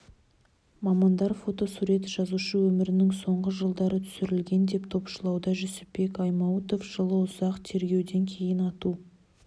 мамандар фотосурет жазушы өмірінің соңғы жылдары түсірілген деп топшылауда жүсіпбек аймауытов жылы ұзақ тергеуден кейін ату